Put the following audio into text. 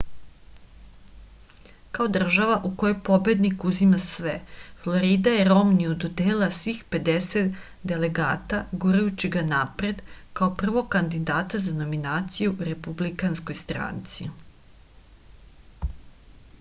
kao država u kojoj pobednik uzima sve florida je romniju dodelila svih pedeset delegata gurajući ga napred kao prvog kandidata za nominaciju u republikanskoj stranci